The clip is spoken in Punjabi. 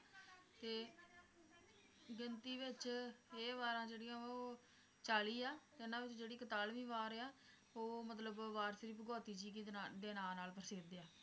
ਤੇ ਗਿਣਤੀ ਵਿਚ ਇਹ ਵਾਰਾਂ ਜਿਹੜੀਆਂ ਵਾ ਉਹ ਚਾਲੀ ਆ ਤੇ ਉਹਨਾਂ ਵਿੱਚੋ ਜਿਹੜੀ ਕਤਾਲਵੀ ਵਾਰ ਆ, ਉਹ ਮਤਲਬ ਵਾਰ ਸ਼੍ਰੀ ਭਗੌਤੀ ਜੀ ਕੀ ਦੇ ਨਾਂ, ਦੇ ਨਾਂ ਨਾਲ ਪ੍ਰਸਿੱਧ ਆ